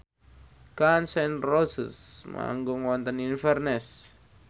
Gun n Roses manggung wonten Inverness